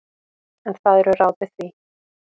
En það eru ráð við því.